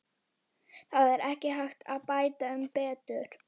Það er ekki hægt að bæta um betur.